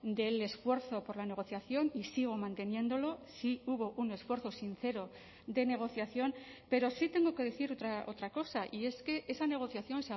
del esfuerzo por la negociación y sigo manteniéndolo sí hubo un esfuerzo sincero de negociación pero sí tengo que decir otra cosa y es que esa negociación